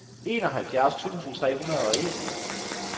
enoghalvfjerds tusind tre hundrede og en